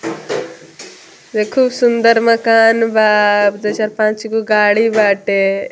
ये खूब सुन्दर मकान बा दू चार पांच गो गाड़ी बाटे |